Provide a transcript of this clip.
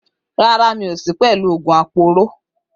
Rárá, mi ò sí pẹ̀lú àwọn oògùn aporó